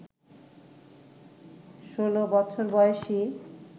ষোলো বছর বয়সী